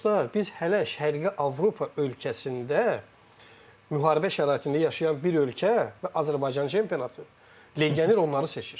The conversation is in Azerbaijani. Dostlar, biz hələ Şərqi Avropa ölkəsində müharibə şəraitində yaşayan bir ölkə və Azərbaycan çempionatı legioner onları seçir.